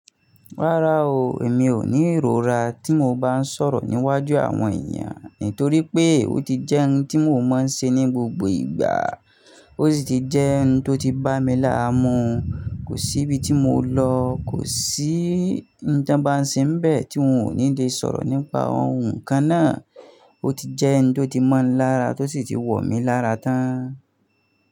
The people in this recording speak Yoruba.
Rárá o, èmi ò ní ìrora tí mo bá ń sọ̀rọ̀ níwájú àwọn èeyan, nítorí pé ó ti jẹ́ hun tí mò mọń ṣe ní gbogbo ìgbà. Ó sì ti jẹ́ ohun tó ti bá mi láàmú. Kò sí ibi tí mo lọ, kò sí ń tań ba n se n bẹ, tí wọn ò ní lè sọ̀rọ̀ nípa ohun kan náà. Ó ti jẹ́ hun tó ti mọ́ mi lára, tó sì ti wọ̀ mí lára tán.